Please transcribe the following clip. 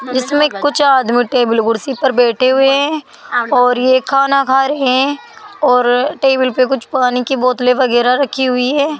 इसमें कुछ आदमी टेबल कुर्सी पर बैठे हुए हैं और ये खाना खा रहे हैं और टेबल पे कुछ पानी की बोतले वगैरा रखी हुई है।